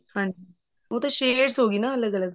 ਹਾਂਜੀ ਉਹ ਤਾਂ shades ਹੋਗੀ ਨਾ ਅਲੱਗ ਅਲੱਗ